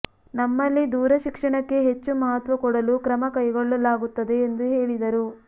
ನಮ್ಮಲ್ಲಿ ದೂರ ಶಿಕ್ಷಣಕ್ಕೆ ಹೆಚ್ಚು ಮಹತ್ವ ಕೊಡಲು ಕ್ರಮ ಕೈಗೊಳ್ಳಲಾಗುತ್ತದೆ ಎಂದು ಹೇಳಿದರು